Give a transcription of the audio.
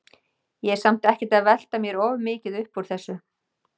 Ég er samt ekkert að velta mér of mikið upp úr þessu.